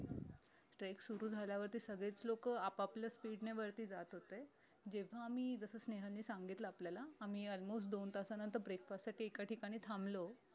treck सुरु झाल्यावरती सगळेच लोक आप आपल्या speed ने वरती जात होते जेव्हा आम्ही जस स्नेहल ने सांगितलं आपल्याला आम्ही almost दोन तासानंतर breakfast साठी एका ठिकाणी थांबलो